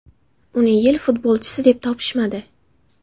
Uni yil futbolchisi deb topishmadi.